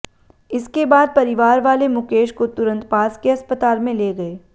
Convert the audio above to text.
इसके बाद परिवार वाले मुकेश को तुरंत पास के अस्पताल में ले गए